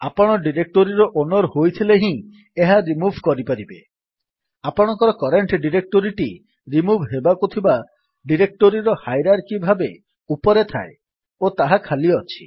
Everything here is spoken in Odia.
ଆପଣ ଡିରେକ୍ଟୋରୀର ଓନର୍ ହୋଇଥିଲେ ହିଁ ଏହା ରିମୁଭ୍ କରିପାରିବେ ଆପଣଙ୍କର କରେଣ୍ଟ୍ ଡିରେକ୍ଟୋରୀଟି ରିମୁଭ୍ ହେବାକୁ ଥିବା ଡିରେକ୍ଟୋରୀର ହାଇରାର୍କି ଭାବେ ଉପରେ ଥାଏ ଓ ତାହା ଖାଲି ଅଛି